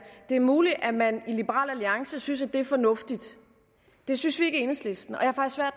er muligt at man i liberal alliance synes at det er fornuftigt det synes vi ikke i enhedslisten